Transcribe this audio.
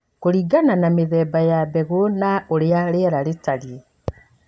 Kũringana na mũthemba wa mbegũ na ũrĩa rĩera rĩtarie.